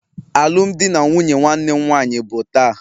Alụmdi na nwunye nwanne m nwanyị bụ taa.